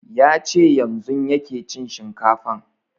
Ya ce yanzun yake cin shinkafan